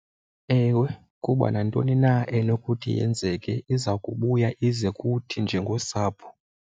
Ewe, kuba nantoni na enokuthi yenzeke iza kubuya ize kuthi njengosapho.